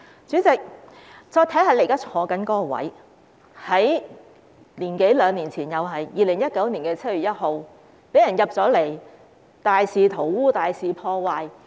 主席，再看看你現時坐的位置，在一年多兩年前的2019年的7月1日，被進入大樓的人大肆塗污和破壞。